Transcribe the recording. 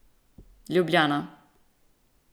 Ljubljana.